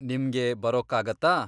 ನಿಮ್ಗೆ ಬರೋಕ್ಕಾಗತ್ತಾ?